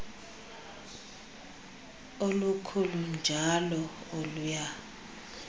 olukhulu njl oluya